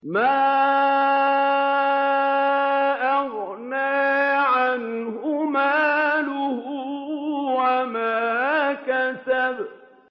مَا أَغْنَىٰ عَنْهُ مَالُهُ وَمَا كَسَبَ